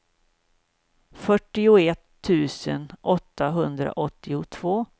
fyrtioett tusen åttahundraåttiotvå